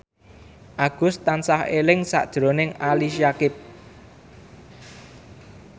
Agus tansah eling sakjroning Ali Syakieb